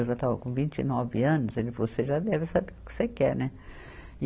Eu já estava com vinte e nove anos, ele falou, você já deve saber o que você quer, né?